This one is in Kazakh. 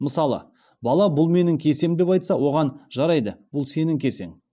мысалы бала бұл менің кесем деп айтса оған жарайды бұл сенің кесең